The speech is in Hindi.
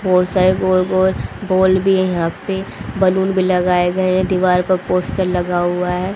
बहोत सारे गोल गोल बॉल भी है यहां पे बैलून भी लगाए गए है दीवार पर पोस्टर लगा हुआ है।